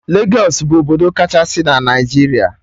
Legos bụ obodo kachasị na Naijiria